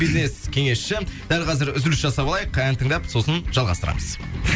бизнес кеңесші дәл қазір үзіліс жасап алайық ән тыңдап сосын жалғастырамыз